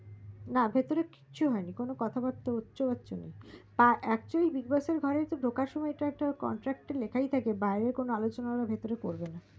ভিতরে কিছু হয়নি কথা বার্তা হচ্ছে হচ্ছে না হা actually big boss এর ঘরে ঢোকান সময় এটাএকটা contract লেখাই থাকে যে বাইরে কোনো আলোচনা হলে ওরা ভিতরে করবে না